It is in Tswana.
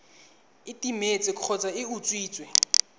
e timetse kgotsa e utswitswe